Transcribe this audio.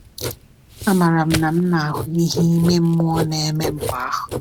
Amaara m na m na-ahụ ihe ime mmụọ na-eme mgbe ahụ.